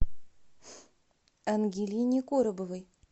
ангелине коробовой